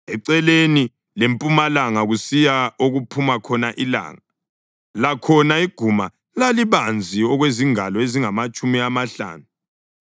Eceleni lempumalanga kusiya okuphuma khona ilanga, lakhona iguma lalibanzi okwezingalo ezingamatshumi amahlanu.